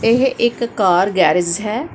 ਇਹ ਇੱਕ car garage ਹੈ।